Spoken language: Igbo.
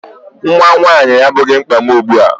Nnwa nwaanyị abụghị mkpa m ugbu a.